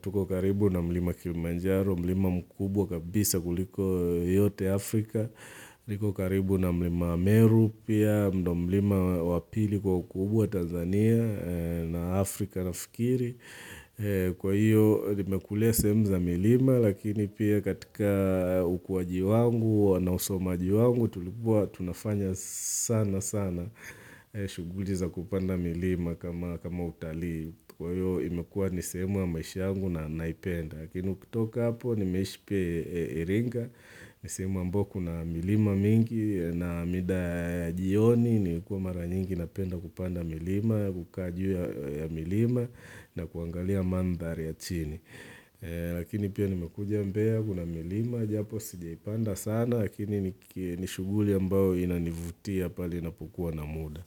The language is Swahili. Tuko karibu na milima Kilimanjaro, milima mkubwa kabisa kuliko yote Afrika. Niko karibu na milima Ameru pia, mdo milima wa pili kwa ukubwa Tanzania, na Afrika naFikiri. Kwa hiyo nimekulea sehemu za milima lakini pia katika ukwaji wangu na usomaji wangu tulikuwa tunafanya sana sana shughuli za kupanda milima kama utalii Kwa hiyo imekua ni sehemu maisha yangu na naipenda Lakini ukitoka hapo nimeishi pia Iringa, ni sehemu ambao kuna milima mingi na mida jioni ni kuwa mara nyingi napenda kupanda milima, kukaa jiwe ya milima na kuangalia mandhari ya chini. Lakini pia nimekuja Mbea kuna milima japo sijaipanda sana lakini nishughuli ambao inanivutia pale napukuwa na muda.